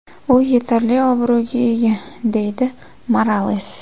U yetarli obro‘ga ega”, deydi Morales.